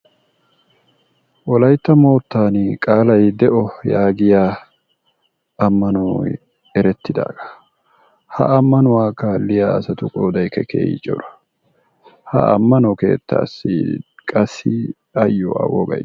Wolaytta moottan qaalaa de'o yaagiya ammanoy eettidaagaa, ha ammanuwa kaaliya asatu qoodaykka keehi cora. Ha ammano keettassi qassi ayyo A wogay de'ees.